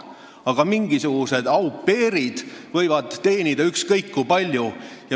Aga mingisugused au pair'id võivad teenida ükskõik kui palju.